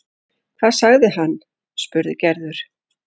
Hvað sagði hann? spurði Gerður.